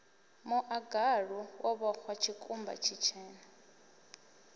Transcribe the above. muḽagalu wo vhoxwa tshikumba tshitshena